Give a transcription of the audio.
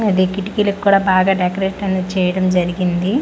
అది కిటికీలక్కూడా బాగా డెకరేట్ అనేది చేయడం జరిగింది.